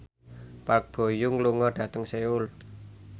Park Bo Yung lunga dhateng Seoul